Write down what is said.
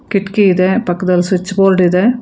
ಕಿಟಕಿಯಿದೆ ಪಕ್ಕದಲ್ಲಿ switchboard ಇದೆ.